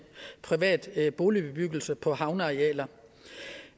privat boligbebyggelse på havnearealer